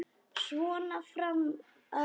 Svona fram að jólum.